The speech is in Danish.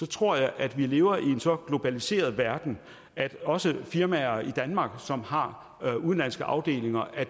tror jeg at vi lever i en så globaliseret verden at det også for firmaer i danmark som har udenlandske afdelinger at